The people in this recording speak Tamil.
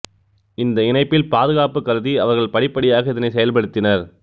இந்த இணைப்பில் பாதுகாப்பு கருதி அவர்கள் படிப்படியாக இதனை செயல்படுத்தினர்